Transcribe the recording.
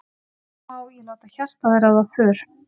hvenær má ég láta hjartað ráða för